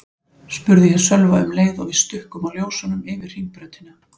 spurði ég Sölva um leið og við stukkum á ljósunum yfir Hringbrautina.